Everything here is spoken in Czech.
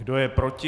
Kdo je proti?